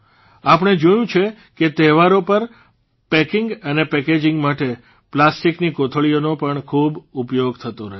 આપણે જોયું છે કે તહેવારો પર પેકિંગ અને પેકેજીંગ માટે પ્લાસ્ટીકની કોથળીઓનો પણ ખૂબ ઉપયોગ થતો રહ્યો છે